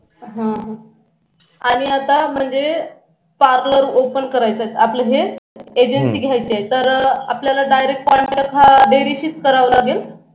हां आणी आता म्हणजे parlor open करायचा आहे आपल हे तर आपल्याला direct contact हा dairy शीच करावा लागेल